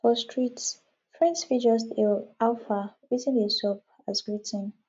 for streets friends fit just hail how far wetin dey sup as greeting